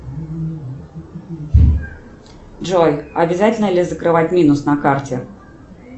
джой обязательно ли закрывать минус на карте